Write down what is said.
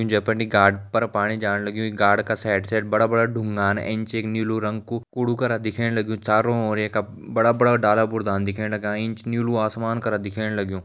जै पर नि गाड पर पाणी जाण लग्युं गाड का साइड साइड बड़ा बड़ा डुंगान एंच एक नीलू रंग कु कुड़ु करा दिखेण लग्युं चारों ओर येका बड़ा बड़ा डाला बुर्तान दिखेण लग्यां एंच नीलू आसमान करा दिखेण लग्युं।